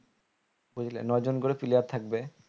বুঝলে ন জন করে player থাকবে